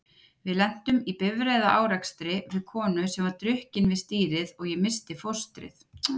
Við lentum í bifreiðaárekstri við konu sem var drukkin við stýrið og ég missti fóstrið.